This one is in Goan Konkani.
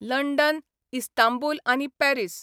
लंडन इस्तांबूल आनी पॅरीस